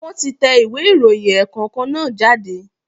Wọ́n ti tẹ ìwé ìròyìn ẹ̀ẹ̀kọ̀kan náà jáde